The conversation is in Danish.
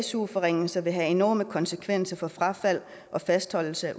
su forringelser vil have enorme konsekvenser for frafald og fastholdelse